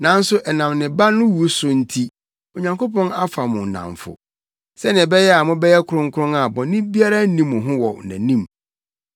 Nanso ɛnam ne Ba no wu so nti Onyankopɔn afa mo nnamfo, sɛnea ɛbɛyɛ a mobɛyɛ kronkron a bɔne biara nni mo ho wɔ nʼanim.